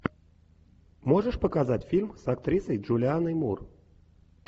можешь показать фильм с актрисой джулианной мур